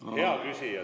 Hea küsija!